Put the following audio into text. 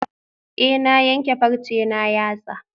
Eh na yanke farce na yatsa